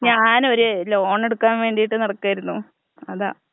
ഞാനൊര് loan എടുക്കാൻ വേണ്ടീട്ട് നടക്കായിരുന്നൂ അതാ.